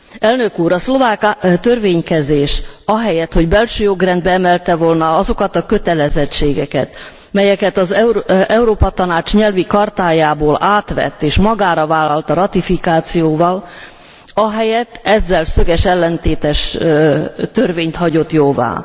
Elnök úr! A szlovák törvénykezés ahelyett, hogy belső jogrendbe emelte volna azokat a kötelezettségeket, melyeket az Európa Tanács nyelvi chartájából átvett és magára vállalta ratifikációval, ahelyett ezzel szöges ellentétes törvényt hagyott jóvá.